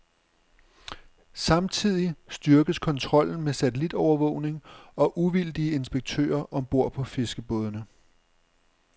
Samtidig styrkes kontrollen med satellitovervågning og uvildige inspektører om bord på fiskerbådene.